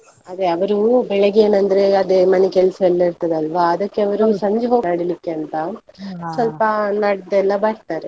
ಅದೇ ಅವರು ಬೆಳಿಗ್ಗೆ ಏನಂದ್ರೆ ಅದೇ ಮನೆ ಕೆಲ್ಸಯೆಲ್ಲಾ ಇರ್ತದಲ್ವಾ ಅದಕ್ಕೆ ಸಂಜೆ ಹೋಗ್ತಾರೆ ನಡಿಲಿಕ್ಕೆ ಅಂತ, ನಡ್ದಲ್ಲ ಬರ್ತಾರೆ.